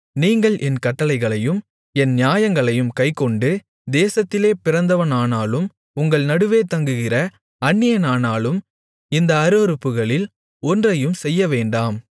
நீங்கள் என் கட்டளைகளையும் என் நியாயங்களையும் கைக்கொண்டு தேசத்திலே பிறந்தவனானாலும் உங்கள் நடுவே தங்குகிற அந்நியனானாலும் இந்த அருவருப்புகளில் ஒன்றையும் செய்யவேண்டாம்